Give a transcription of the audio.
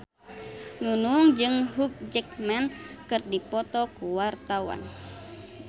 Nunung jeung Hugh Jackman keur dipoto ku wartawan